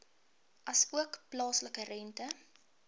asook plaaslike rente